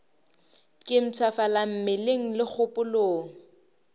ke mpshafala mmeleng le kgopolong